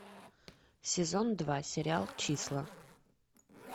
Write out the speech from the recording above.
сезон два сериал числа